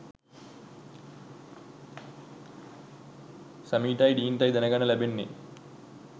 සෑම්ටයි ඩීන්ටයි දැනගන්න ලැබෙන්නේ.